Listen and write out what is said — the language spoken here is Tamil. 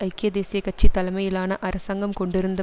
ஐக்கிய தேசிய கட்சி தலைமையிலான அரசாங்கம் கொண்டிருந்த